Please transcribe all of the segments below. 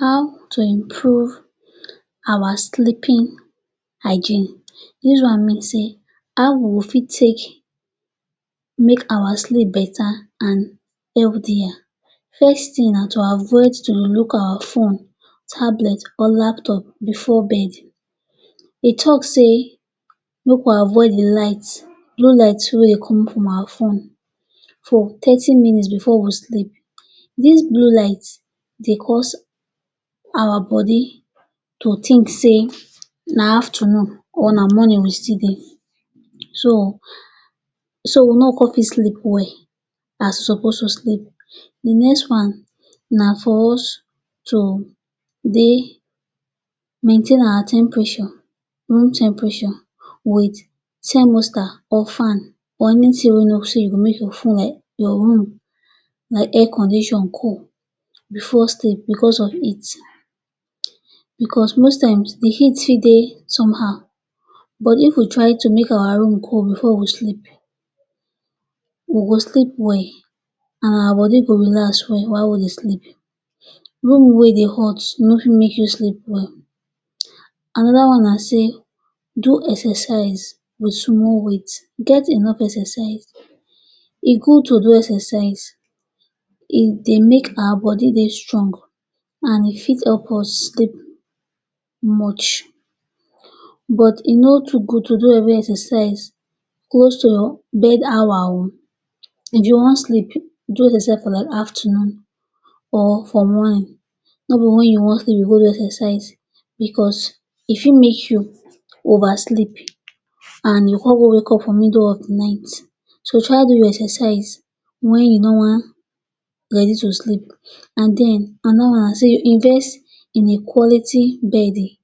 How to improve our sleeping hygiene. Dis one mean say how we fit take make our sleep betta and healthier. First thing, na to avoid to dey look our phone, tablet or laptop bifor bed. Dey tok say make we avoid di light blue light wey dey comot from our phone thirty minutes bifor we sleep. Dis blue light dey cause our body to think say na aftanun or na morning we still dey, so we no go come fit sleep well as suppose to sleep. Di next one na for us to dey maintain our temperature; room temperature wit thermostat or fan or anytin wey you know say e go make your room like air condition cool bifor sleep, bicos of heat. Bicos most times, heat fit dey somehow. But if we fit make our room cool bifor we go sleep, we go sleep well and our body go relax well while we dey sleep. Room wey dey hot no fit make you sleep well. Anoda one na say do exercise wit small weight. Get enough exercise. E good to do exercise. E dey make our body dey strong and e fit help us sleep much. But e no too good to do heavy exercise close to your bed hour o. If you wan sleep, do exercise for like aftanun or for morning. No be wen you wan sleep you go come dey do exercise, bicos e fit make you over sleep and you come go wake up for middle of di night. So try do your exercise wen you no wan ready to sleep. And then anoda one na say invest in a quality beddings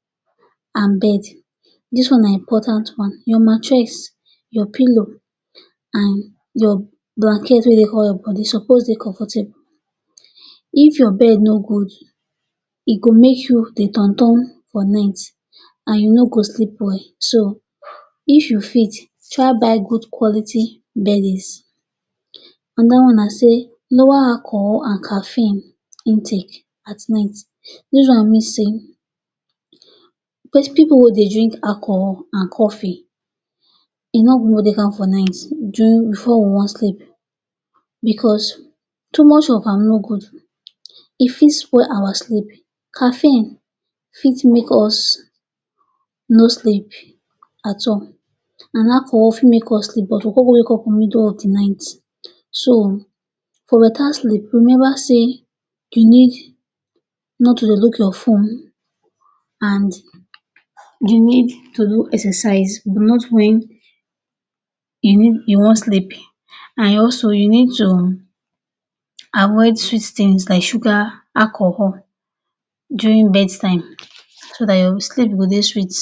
and bed. Dis one na important one. Your mattress, your pillow and your blanket wey dey cover your body suppose dey comfortable. If your bed no good, e go make you turn dey turn turn for night and you no go sleep well. So if you fit, try buy good quality beddings. Anoda one na say lower alcohol and caffeine intake at night. Dis one mean say pipu wey dey drink alcohol and coffee e no good make dem dey take am for night, during or bifor we wan sleep, bicos too much of am no good. E fit spoil our sleep. Caffeine fit make us no sleep at all, and alcohol fit make us sleep but we go come go wake up for middle of di night. So for betta sleep, we never say you need too dey look your phone, and you need to do exercise not wen you wan sleep, and also you need to avoid sweet tins like sugar and alcohol during bedtime so dat your sleep go dey sweet.